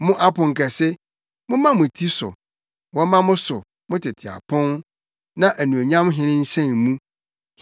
Mo aponkɛse, momma mo ti so; wɔmma mo so, mo tete apon, na Anuonyam Hene nhyɛn mu.